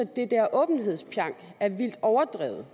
at åbenhedspjank er vildt overdrevet